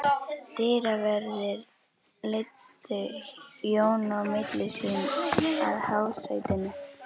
Dyraverðir leiddu Jón á milli sín að hásætinu.